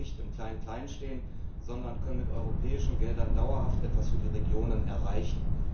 So bleiben wir nicht im Kleinen stehen, sondern können mit europäischen Geldern dauerhaft etwas für die Regionen erreichen.